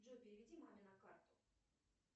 джой переведи маме на карту